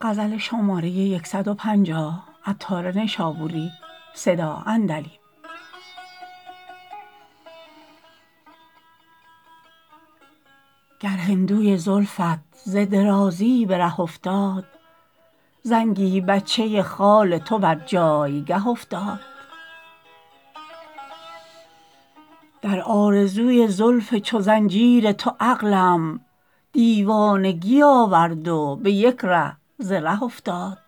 گر هندوی زلفت ز درازی به ره افتاد زنگی بچه خال تو بر جایگه افتاد در آرزوی زلف چو زنجیر تو عقلم دیوانگی آورد و به یک ره ز ره افتاد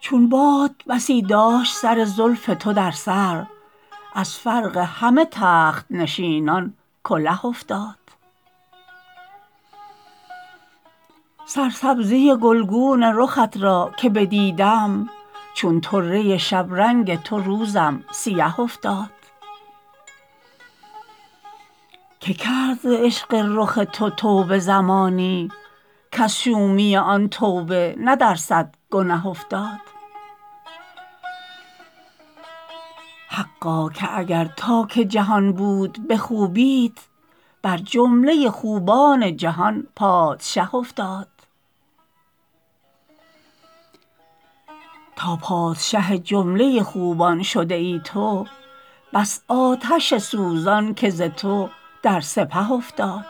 چون باد بسی داشت سر زلف تو در سر از فرق همه تخت نشینان کله افتاد سرسبزی گلگون رخت را که بدیدم چون طره شبرنگ تو روزم سیه افتاد که کرد ز عشق رخ تو توبه زمانی کز شومی آن توبه نه در صد گنه افتاد حقا که اگر تا که جهان بود به خوبیت بر جمله خوبان جهان پادشه افتاد تا پادشه جمله خوبان شده ای تو بس آتش سوزان که ز تو در سپه افتاد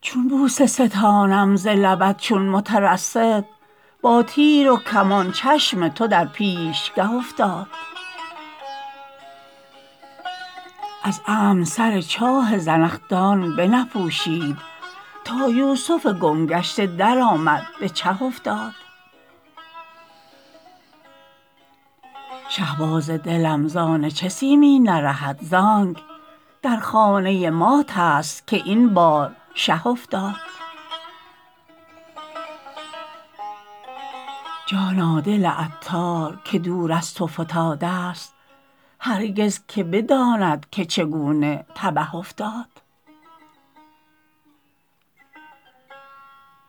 چون بوسه ستانم ز لبت چون مترصد با تیر و کمان چشم تو در پیشگه افتاد از عمد سر چاه زنخدان بنپوشید تا یوسف گم گشته درآمد به چه افتاد شهباز دلم زان چه سیمین نرهد زانک در خانه مات است که این بار شه افتاد جانا دل عطار که دور از تو فتادست هرگز که بداند که چگونه تبه افتاد